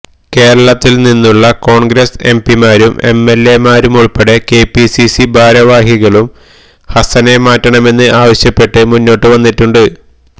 കേരളത്തിൽ നിന്നുള്ള കോൺഗ്രസ് എംപിമാരും എംഎല്എമാരുമുൾപ്പെടെ കെപിസിസി ഭാരവാഹികളും ഹസനെ മാറ്റണമെന്ന് ആവശ്യപ്പെട്ട് മുന്നോട്ട് വന്നിട്ടുണ്ട്